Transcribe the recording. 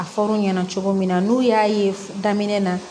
A fɔr'u ɲɛna cogo min na n'u y'a ye daminɛ na